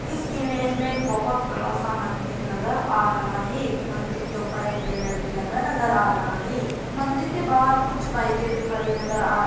इस इमेज में एक बोहत बड़ा सा मंदिर नजर आ रहा है मंदिर के ऊपर एक बैनर भी लगा नजर आ रहा है। मंदिर के बाहर कुछ बाइके भी खड़ी नजर आ--